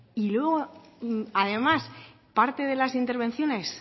y además parte de las intervenciones